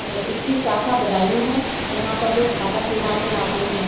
है इसकी शाखा बदायू है यहाँ पर लोग खाता खुलवाने आते है।